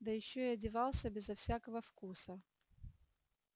да ещё и одевался безо всякого вкуса